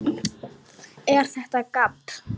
ER ÞETTA GABB?